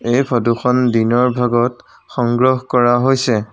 এই ফটোখন দিনৰ ভাগত সংগ্ৰহ কৰা হৈছে।